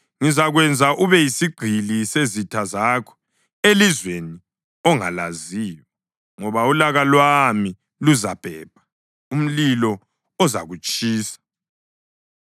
Ngizakwenza ube yisigqili sezitha zakho elizweni ongalaziyo, ngoba ulaka lwami luzabhebha umlilo ozakutshisa.”